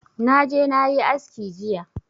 Na je na yi aski jiya